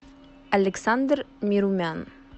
александр мирумян